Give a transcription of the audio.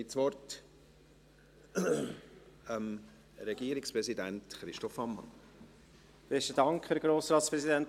Dann hat der Regierungsratspräsident Christoph Ammann das Wort.